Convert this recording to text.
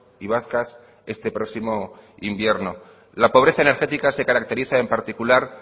y vascas este próximo invierno la pobreza energética se caracteriza en particular